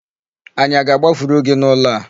Anyị aga agbafuru gị n'ụlọ a?